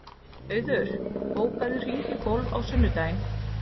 Auður, bókaðu hring í golf á sunnudaginn.